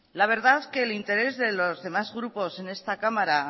la verdad que el interés de los demás grupos en esta cámara